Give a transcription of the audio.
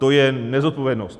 To je nezodpovědnost!